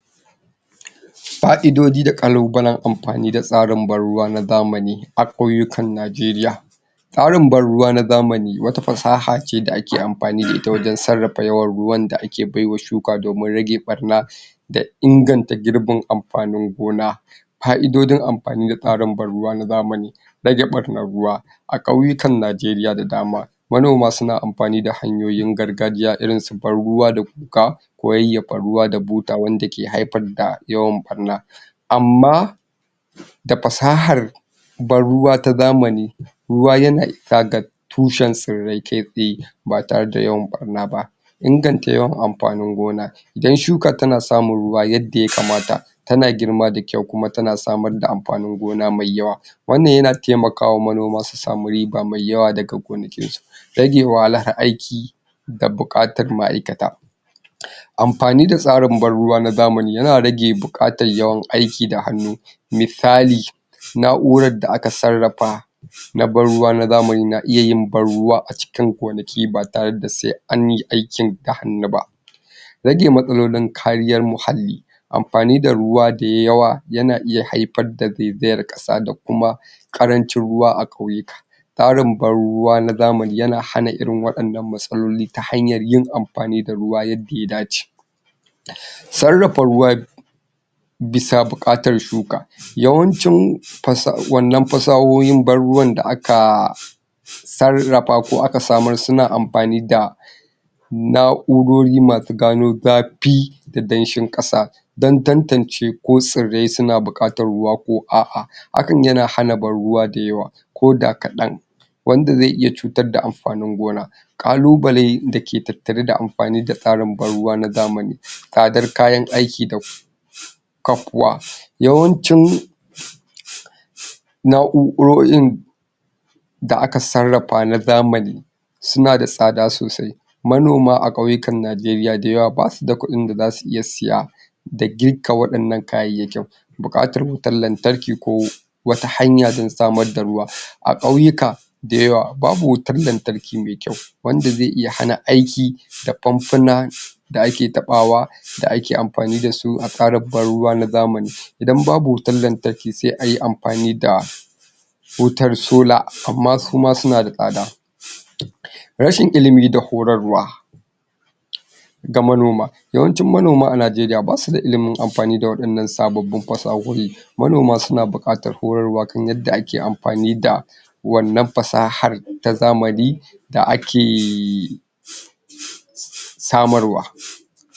Fa'idoji da kalubalen amfani da tsarin ban ruwa na zamani a kauyukan nijeriya Tsarin ban ruwa na zamani wata fasaha ce da ake amfani da ita wajen sarrafa yawan ruwan da ake baiwa shuka domin rage barna da inganta girbin amfanin Gona Fa'idojin amfani da tsarin ban ruwa na zamani: :-Rage barnar ruwa a kauyukan Nijeriya da dama manoma suna anfani da hanyoyin gargajiya irin su ban ruwa da guga ko yayyafa ruwa da buta Wanda ke haifar da yawan barna, amma da fasahar ban ruwa ta zamani ruwa yana isa ga tushen tsirrai kai tsaye ba tare da yawan barna ba.- Inganta yawan amfanin Gona; idan shuka tana samun ruwa yadda ya kamata tana girma da kyau kuma tana samar da amfanin Gona mai yawa wannan yana taimakawa manoma su samu riba mai yawa daga gonakin Rage wahalar aiki da bukatar ma'aikata;; anfani da tsarin ban ruwa na zamani yana rage bukatar yawan aiki da hannu, misali na'urar da aka sarrafa na ban ruwa na zamani, na iya yin ban ruwa a cikin gonaki ba tare da sai anyi aikin da hannu ba -Rage matsalolin kariyar muhalli amfani da ruwa da yawa yana iya haifar da zaizayar kasa da kuma karancin ruwa a kauyuka Tsarin ban ruwa na zamani yana hana irin wadannan matsaloli ta hanyar yin amfani da ruwa yadda ya dace Sarrafa Ruwa bisa bukatar shuka; yawancin fasahohin ban ruwan da aka sarrafa ko aka samar suna anfani da na'urori masu gano zafi da damshin kasa dan tantance ko tsirrai suna bukatar Ruwa ko a'a Hakan yana hana ban ruwa da yawa ko kadan wanda zai iya cutar da amfanin Gona.KALUBALEN dake tattare da amfani da tsarin ban ruwa na zamani:-Tsadar kayan aiki da ku kakuwa yaan chin na'urorin da aka sarrafa na zamani suna da tsada sossai, manoma a kyauyukan Nijeriya da yawa basu da kudin da zasu iya siya da gikka wadannan kayayyakin, -Bukatar wutar lantarki ko wata hanya dan samar da ruwa; a kauyuka de yawa babu wutar lantarki mai kyau wanda zai iya hana aiki da famfuna da ake tabawa da ake amfani dasu a tsarin ban ruwa na zamani, idan babu wutar lantarki sai ayi amfani da wutar solar, amma suma suna da tsada Rashin ilimi da horarwa ruwa horarwa ga manoma; yawancin manoma a Nijeriya basuda ilimin wa'innan sababbin fasahohin, manoma suna bukatar horarwa kan yadda ake amfani da wannan fasahar ta zamani da ake ahhh samarwa